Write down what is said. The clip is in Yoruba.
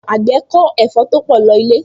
Àgbẹ̀ kó ẹ̀fọ́ to pọ̀ lọ ilé